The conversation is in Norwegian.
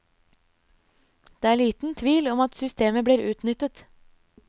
Det er liten tvil om at systemet blir utnyttet.